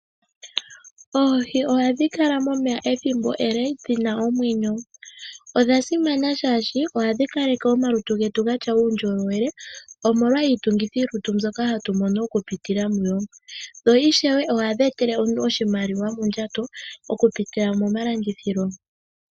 Oohi ohadhi kala momeya ethimbo ele dhina omwenyo. Odha simana shaashi ohadhi kaleke omalutu getu gatya uundjolowele omolwa iitungithilutu mbyoka hatu mono oku pitila mudho. Oohi ishewe ohadhi etele omuntu oshimaliwa mondjato okupitila moma landithilo.